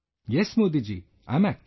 Yes Modi ji, I am active